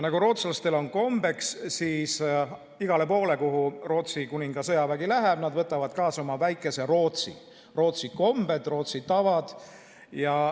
Nagu rootslastel on kombeks, siis igale poole, kuhu Rootsi kuninga sõjavägi läheb, võtavad nad kaasa oma väikese Rootsi: Rootsi kombed, Rootsi tavad.